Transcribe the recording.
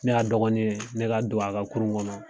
Ne y'a dɔgɔnin ye, ne ka don a ka kurun kɔnɔ.